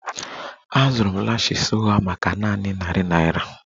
Azụrụ m lashes ụgha maka nanị narị naira